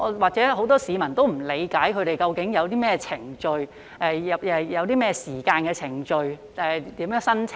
或許很多市民也不理解他們究竟有何程序......要多少時間和如何申請。